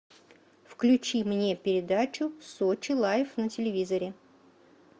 включи мне передачу сочи лайф на телевизоре